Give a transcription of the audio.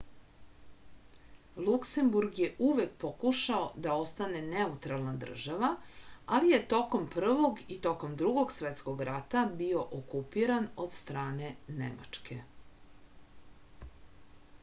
luksemburg je uvek pokušao da ostane neutralna država ali je tokom prvog i tokom drugog svetskog rata bio okupiran od strane nemačke